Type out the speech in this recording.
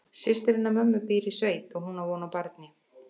Systir hennar mömmu býr í sveit og hún á von á barni.